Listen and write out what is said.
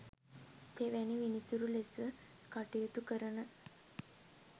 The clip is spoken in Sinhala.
තෙවැනි විනිසුරු ලෙස කටයුතු කරන